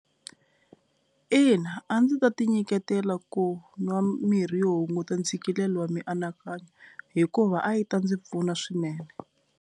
Ina a ndzi ta ti nyiketela ku nwa mirhi yo hunguta ntshikelelo wa mianakanyo hikuva a yi ta ndzi pfuna swinene.